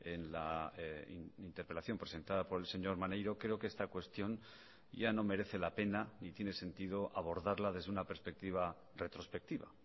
en la interpelación presentada por el señor maneiro creo que esta cuestión ya no merece la pena ni tiene sentido abordarla desde una perspectiva retrospectiva